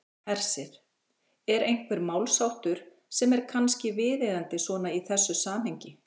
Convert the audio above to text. Hersir: Er einhver málsháttur sem er kannski viðeigandi svona í þessu samhengi?